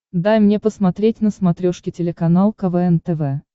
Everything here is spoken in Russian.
дай мне посмотреть на смотрешке телеканал квн тв